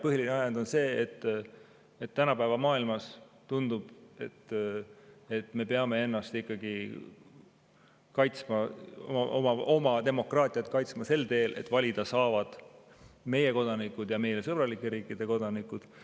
Põhiline ajend on see, et tänapäeva maailmas tundub, et me peame ennast ikkagi kaitsma, oma demokraatiat kaitsma sel teel, et valida saavad meie kodanikud ja meile sõbralike riikide kodanikud.